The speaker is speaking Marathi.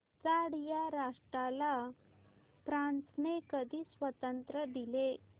चाड या राष्ट्राला फ्रांसने कधी स्वातंत्र्य दिले